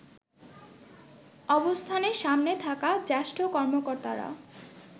অবস্থানের সামনে থাকা জ্যেষ্ঠ কর্মকর্তারা